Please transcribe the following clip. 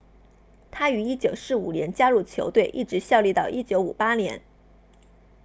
他于1945年加入球队一直效力到1958年